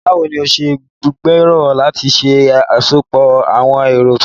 Báwo ni o ṣe gbèrò láti ṣe àsopọ̀ àwọn ẹ̀rọ tuntun?